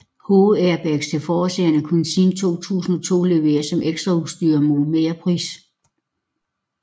Hovedairbags til forsæderne kunne siden 2002 leveres som ekstraudstyr mod merpris